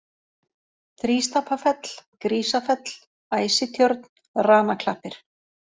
Þrístapafell, Grísafell, Æsitjörn, Ranaklappir